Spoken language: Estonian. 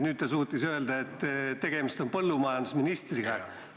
Nüüd ta suutis öelda, et tegemist on põllumajandusministriga.